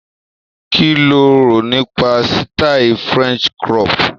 Kí lo rò nípa sítáì french crop?